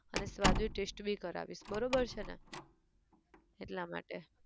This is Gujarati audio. અને સ્વાદિષ્ટ taste બી કરાવીશ બરોબર છે ને? એટલા માટે.